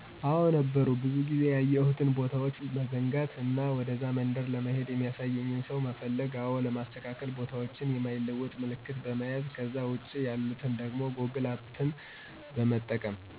አዎ ነበሩ ብዙ ጊዜ ያየሁትን ቦታዎች መዘንጋት እና ወደዛ መንደር ለመሄድ የሚያሳየኝን ሰው መፈለግ አዎ ለማስተካከል ቦታዎችን የማይለወጥ ምልክት በመያዝ ከዛ ውጭ የሆኑትን ደግሞ ጎግል ማፕን በመጠቀም